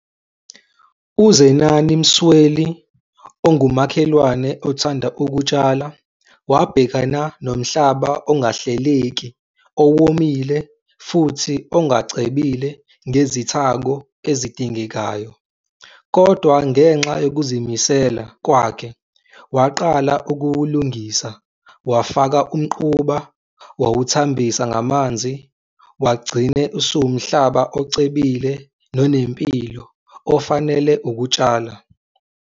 UZenani Msweli ongumakhelwane othanda ukutshala, wabhekana nomhlaba ongahleleki, owomile futhi ongacebile ngezithako ezidingekayo. Kodwa ngenxa yokuzimisela kwakhe waqala ukuwulungisa, wafaka umquba, wawuthambisa ngamanzi, wagcine usuwumhlaba ocebile nonempilo ofanele ukutshala.